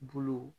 Bulu